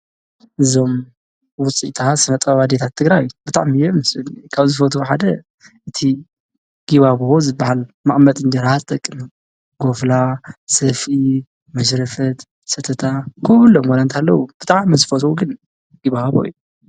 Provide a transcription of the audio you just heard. እዞም ዉፅኢታት ስነ ጥበብ ኣዴታት ትግራይ ብጣዕሚ እዮም ደስ ዝብሉኒ ካብ ዝፈትዎ ቁጽሪ ሓደ እቲ ጊባቦ ዝበሃል ንመቅመጢ እንጀራ ዝጠቅም ጎፍላ፣ ሰፍኢ፣ መሽረፈት፣ ሰተታ ኩሎም ዋላ እንተሃለዉ ብጣዕሚ ዝፈትዎ ግን ጊባቦ እዪ ።